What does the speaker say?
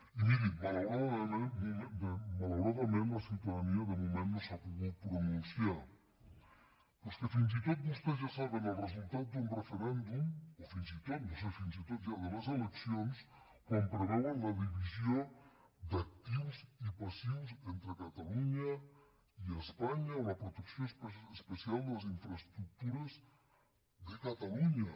i mirin malauradament la ciutadania de moment no s’ha pogut pronunciar però és que fins i tot vostès ja saben el resultat d’un referèndum o fins i tot no sé si fins i tot ja de les eleccions quan preveuen la divisió d’actius i passius entre catalunya i espanya o la protecció especial de les infraestructures de catalunya